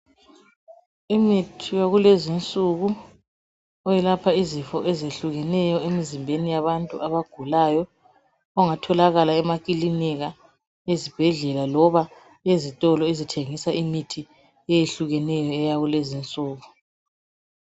Imithi yakulezinsuku yelapha izifo ezehlukeneyo emzimbeni yabantu abagulayo. Ongatholakala emakilinika, ezibhedlela loba ezitolo ezithengisa imithi eyehlukeneyo eyakulezinsuku.